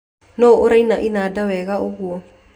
Nũũ ũraina inanda wega ũguo